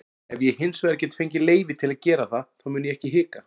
Ef ég hinsvegar get fengið leyfi til að gera það þá mun ég ekki hika.